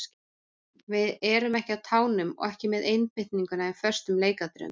Við erum ekki á tánum og ekki með einbeitingu í föstum leikatriðum.